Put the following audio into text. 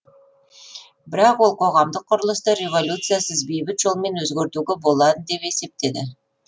бірақ ол қоғамдық құрылысты революциясыз бейбіт жолмен өзгертуге болады деп есептеді